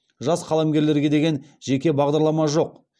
жас қаламгерлерге деген жеке бағдарлама жоқ